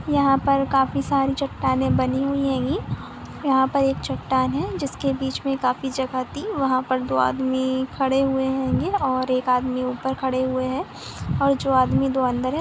यहां पर काफी सारी चट्टाने बने हुई है यहां पर एक चट्टान है जिसके बीच में काफी सारी जगह थी वहा पर दो आदमी खड़े हुए होंगे और एक आदमी ऊपर खड़े हुए है और दो आदमी जो अंदर--